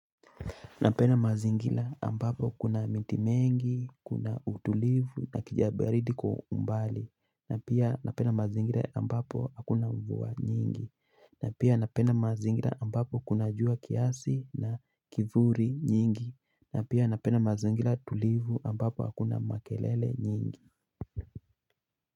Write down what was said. Napenda mazingira ambapo kuna miti mengi, kuna utulivu na kijabaridi kwa umbali. Napenda mazingira ambapo hakuna mvua nyingi. Na pia napenda mazingira ambapo kuna jua kiasi, na kivuli nyingi. Napena mazingila tulivu ambapo hakuna makelele nyingi.